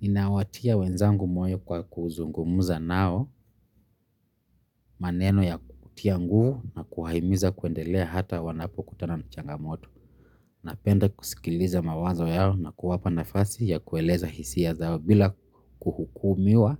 Nina watia wenzangu moyo kwa kuzungumuza nao maneno ya kutia nguvu na kuwahimiza kuendelea hata wanapo kutana na changamoto. Napenda kusikiliza mawazo yao na kuwapa nafasi ya kueleza hisia zao bila kuhukumiwa